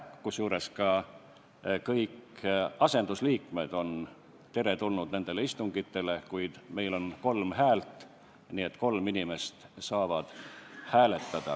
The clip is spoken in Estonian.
Kusjuures ka kõik asendusliikmed on teretulnud nendele istungitele, kuid meil on kolm häält, nii et kolm inimest saavad hääletada.